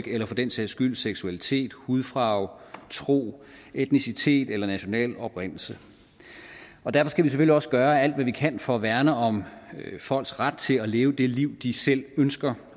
eller for den sags skyld seksualitet hudfarve tro etnicitet eller national oprindelse og derfor skal vi selvfølgelig også gøre alt hvad vi kan for at værne om folks ret til at leve det liv de selv ønsker